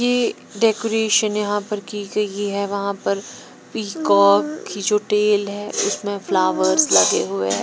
ये डेकोरेशन यहां पर की गई है वहां पर पीकॉक की जो टेल है उसमें फ्लावर्स लगे हुए हैं।